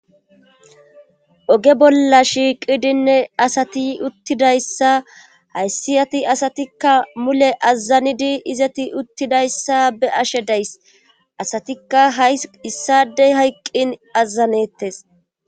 oge bolla shiiqidinne asati uttidayssa hayssiyati asatikka mule azanidi izati uttidayssa be ashe days asatikka hay issadey hayqqin azanettes